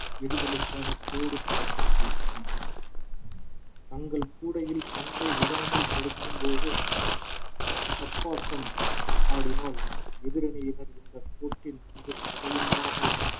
எறிதலுக்கான கோடு போடப்பட்டிருக்கும் தங்கள் கூடையில் பந்தை விடாமல் தடுக்கும்போது தப்பாட்டம் ஆடினால் எதிரணியினர் இந்த கோட்டில் நின்று தடையில்லாமல்